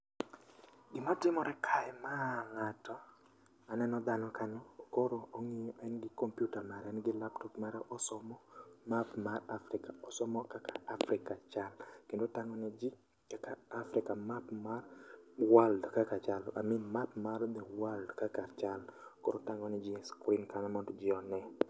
Gima timore kae ma ng'ato, aneno dhano kanyo koro ong'iyo en gi kompyuta mare en gi laptop mare. Osomo map mar Afrika, osomo kaka Afrika chalo kendo otang'o ne ji kaka Afrika map mar world kaka chalo. I mean, map mar the world kaka chalo, koro otang'o ne ji e skrin kanyo mondo ji one.